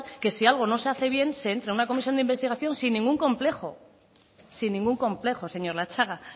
que si algo no se hace bien se entre a una comisión de investigación sin ningún complejo sin ningún complejo señor latxaga